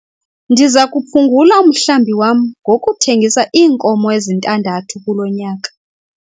Ndiza kuphungula umhlambi wam ngokuthengisa iinkomo ezintandathu kulo nyaka.